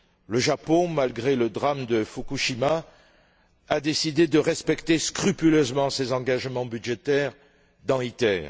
Le Japon, malgré le drame de Fukushima, a décidé de respecter scrupuleusement ses engagements budgétaires dans ITER.